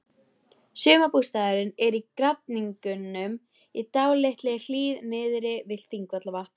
Sumarbústaðurinn er í Grafningnum, í dálítilli hlíð niðri við Þingvallavatn.